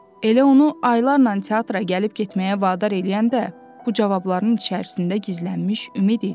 Elə onu aylarnan teatra gəlib getməyə vadar eləyən də bu cavabların içərisində gizlənmiş ümid idi.